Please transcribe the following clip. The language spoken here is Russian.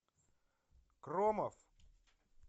кромов